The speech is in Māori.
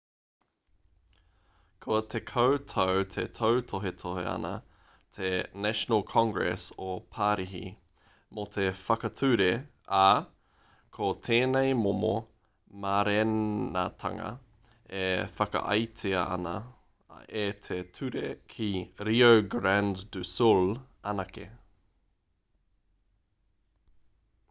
kua 10 tau e tautohetohe ana te national congress o parihi mō te whakature ā ko tēnei momo mārenatanga e whakaaetia ana e te ture ki rio grande do sul anake